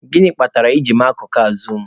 Gịnị kpatara I ji mee akụkụ a zuum?